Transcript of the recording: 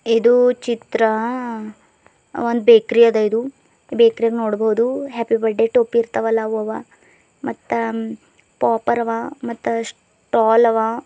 ಇದು ಚಿತ್ರ ಒಂದ್ ಬೇಕರಿ ಅದ ಇದು ಬೇಕರಿ ನಾಗ್ ನೋಡಬೋದು ಬರ್ಡೆ ಟೋಪಿ ಇರ್ತವಲ್ಲ ಅವು ಅವ ಮತ್ತ ಪೊಪ್ಪರ್ ಅವ ಸ್ಟಾಲ್ ಅವ --